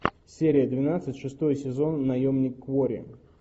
серия двенадцать шестой сезон наемник куорри